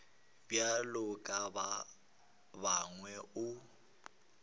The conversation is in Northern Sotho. bjalo ka ba bangwe o